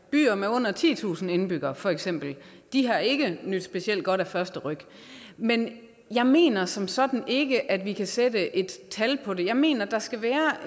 byer med under titusind indbyggere for eksempel har ikke nydt specielt godt af første ryk men jeg mener som sådan ikke at vi kan sætte et tal på det jeg mener der skal være